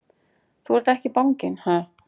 Þú ert ekki banginn, ha!